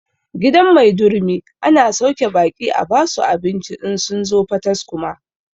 Gidan maidurumi ana sauke baƙi a basu abinci in sun zo pataskuma